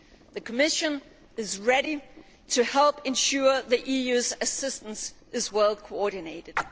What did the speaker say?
The Commission is ready to help ensure the EU's assistance is well coordinated.